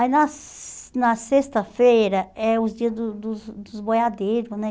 Aí na na sexta-feira é os dias dos dos dos boiadeiros, né?